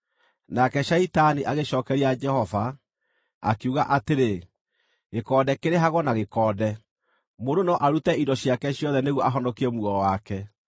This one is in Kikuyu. Nake Shaitani agĩcookeria Jehova, akiuga atĩrĩ, “Gĩkonde kĩrĩhagwo na gĩkonde! Mũndũ no arute indo ciake ciothe nĩguo ahonokie muoyo wake.